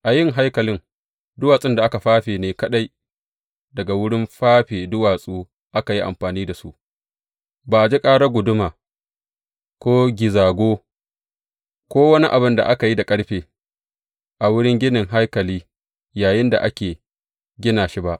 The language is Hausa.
A yin ginin haikalin, duwatsun da aka fafe ne kaɗai daga wurin fafe duwatsu aka yi amfani da su, ba a ji karar guduma ko gizago, ko wani abin da aka yi da ƙarfe a wurin ginin haikali yayinda ake gina shi ba.